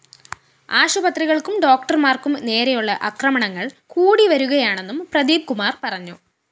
ആശുപത്രികള്‍ക്കും ഡോക്ടര്‍മാര്‍ക്കും നേരെയുള്ള അക്രമങ്ങള്‍ കൂടിവരികയാണെന്നും പ്രദീപ്കുമാര്‍ പറഞ്ഞു